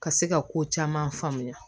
Ka se ka ko caman faamuya